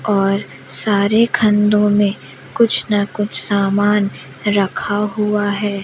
और सारे खंधो में कुछ ना कुछ सामान रखा हुआ है।